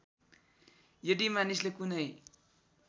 यदि मानिसले कुनै